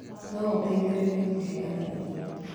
No ũteithĩrĩrie kũheana irio.